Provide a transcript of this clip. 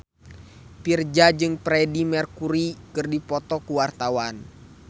Virzha jeung Freedie Mercury keur dipoto ku wartawan